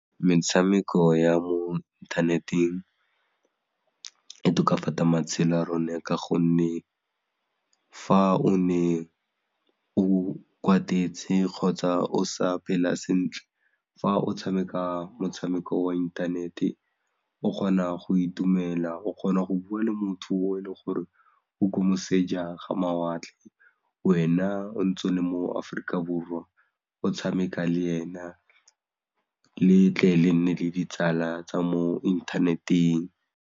Metshameko ya mo inthaneteng e tokafatsa matshelo a rona ka gonne fa o ne o kwatetse kgotsa o sa phela sentle fa o tshameka motshameko wa inthanete o kgona go itumela o kgona go bua le motho o e leng gore o ko moseja ga mawatle wena o ntse o le mo Aforika Borwa o tshameka le ena le tle le nne le ditsala tsa mo inthaneteng.